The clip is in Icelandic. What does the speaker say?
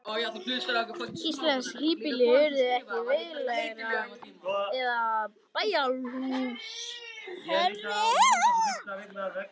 Íslensk híbýli urðu ekki veglegri eða bæjarhús hærri.